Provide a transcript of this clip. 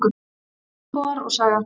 Íbúar og saga.